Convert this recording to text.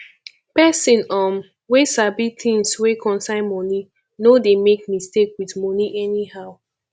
pesin um wey sabi tins wey concern moni no dey make mistake with moni anyhow